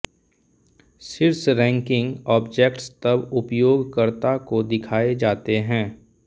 शीर्ष ranking object तब उपयोगकर्ता को दिखाए जाते हैं